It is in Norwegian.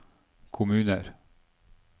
kommuner